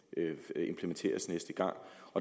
implementeres næste gang